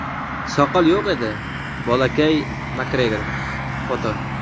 Soqol yo‘q endi, bolakay – Makgregor (Foto).